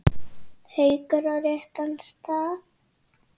Haukur: Á réttan stað?